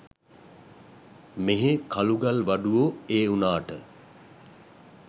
මෙහේ කළු ගල් වඩුවෝ ඒ උනාට